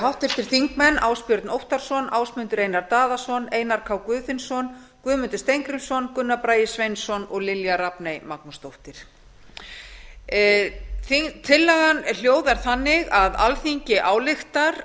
háttvirtir þingmenn ásbjörn óttarsson ásmundur einar daðason einar k guðfinnsson guðmundur steingrímsson gunnar bragi sveinsson og lilja rafney magnúsdóttir tillagan hljóðar þannig að alþingi ályktar